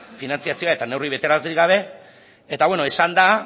finantzazioa eta neurri betearazlerik gabe eta bueno esan da